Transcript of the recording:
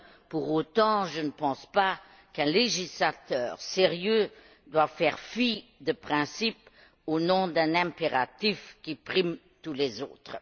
pour autant, je ne pense pas qu'un législateur sérieux doive faire fi de principes au nom d'un impératif qui prime tous les autres.